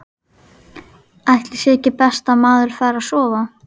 Ætli sé ekki best að maður fari að sofa.